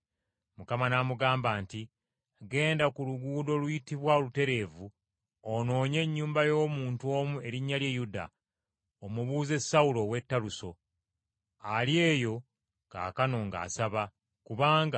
Mukama n’amugamba nti, “Genda ku luguudo oluyitibwa Olutereevu, onoonye ennyumba y’omuntu omu erinnya lye Yuda, omubuuze Sawulo ow’e Taluso. Ali eyo kaakano ng’asaba, kubanga